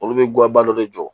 Olu bɛ guwanba dɔ de jɔ